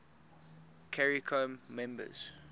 caricom members